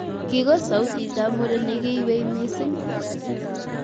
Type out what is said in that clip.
Kigos sautitab muren neginywei missing